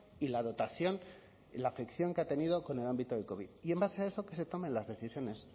y la dotación la afección que ha tenido con el ámbito del covid y en base a eso que se tomen las decisiones